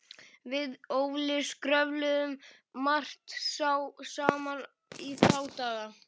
Við Óli skröfluðum margt saman í þá daga.